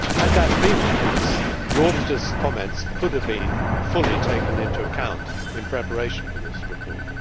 Had that been the case, the auditors' comments could have been fully taken into account in the preparation of the report.